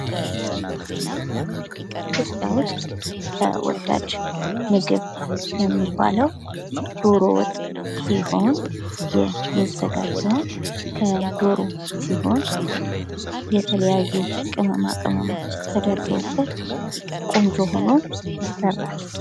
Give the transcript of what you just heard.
ኢትዮጵያ ውስጥ ተወዳጅ ምግብ የሚባለው ዶሮ ወጥ ሲሆን የሚዘጋጀውም ከዶሮ ሲሆን የተለያዩ ቅመማቅመም ተጨምሮበት ቆንጆ ሆኖ ይሰራል።